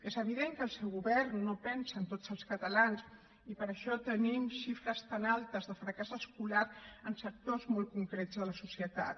és evident que el seu govern no pensa en tots els catalans i per això tenim xifres tan altes de fracàs escolar en sectors molt concrets de la societat